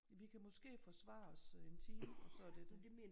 Vi kan måske forsvare os 1 time og så er det det